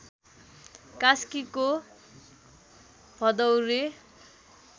कास्कीको भदौरे